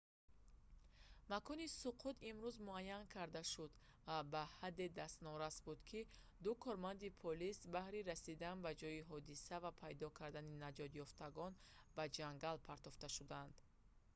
макони суқут имрӯз муайян карда шуд ва ба ҳадде дастнорас буд ки ду корманди полис баҳри расидан ба ҷои ҳодиса ва пайдо кардани наҷотёфтагон ба ҷангал партофта шуданд